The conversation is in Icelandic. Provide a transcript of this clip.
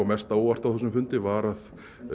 mest á óvart á þessum fundi var að